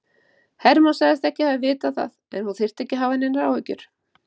Hermann sagðist ekki hafa vitað það en hún þyrfti ekki að hafa neinar áhyggjur.